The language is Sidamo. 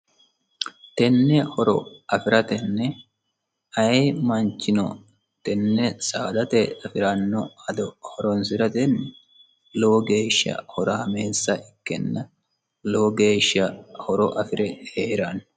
tenne horo afi'ratenne aye manchino tenne saadate afi'ranno ado horonsi'ratenni lowo geeshsha horaameessa ikkenna lowo geeshsha horo afi're hee'ranno